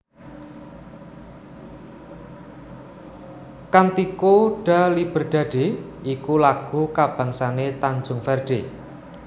Cântico da Liberdade iku lagu kabangsané Tanjung Verde